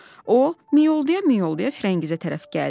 O miyoldaya-miyoldaya Firəngizə tərəf gəldi.